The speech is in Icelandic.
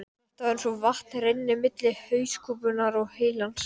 Þetta er einn af leiðinlegu dögunum í vinnunni.